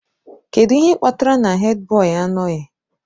Kedu ihe kpatara na Hèdbọyi anọghị?